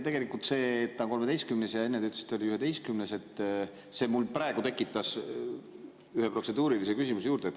Tegelikult see, et ta on 13. ja enne te ütlesite, et oli 11., mul praegu tekitas ühe protseduurilise küsimuse juurde.